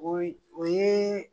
O o yeee.